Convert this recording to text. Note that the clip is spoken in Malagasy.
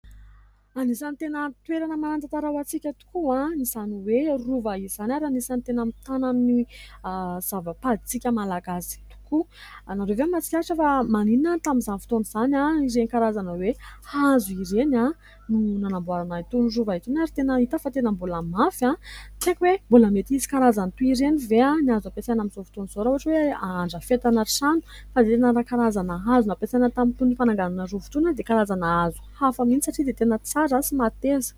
Anisan'ny tena toerana manan-tantara ho antsika tokoa izany hoe Rova izany ary anisan'ny tena mitana ny zava-padintsika Malagasy tokoa. Ianareo ve mahatsikaritra fa maninona tamin'izany fotoana izany ireny karazana hoe hazo ireny no nanamboarana itony rova itony ary tena hita fa tena mbola mafy ? Tsy haiko hoe mbola mety misy karazany toa ireny ve any azo ampiasaina amin'izao fotoan'izao raha ohatra hoe handrafetana trano ? Fa liana amin'ny karazana hazo nampiasaina tamin'itony fananganana roava itony aho dia karazana hazo hafa mihintsy satria dia tena tsara sy mahateza.